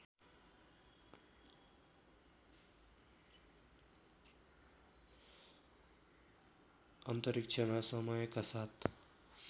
अन्तरिक्षमा समयका साथ